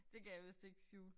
Det kan jeg vist ikke skjule